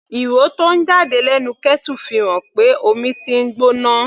Ìró tó ń jáde lẹ́nu kettle fi hàn pé omi tí ń gbóná.